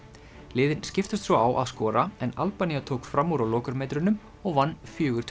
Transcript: liðin skiptust svo á að skora en Albanía tók fram úr á lokametrunum og vann fjórar